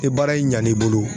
Ni baara in ɲan'i bolo